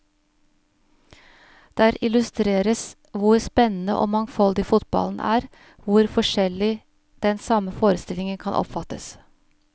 Der illustreres hvor spennende og mangfoldig fotballen er, hvor forskjellig den samme forestillingen kan oppfattes.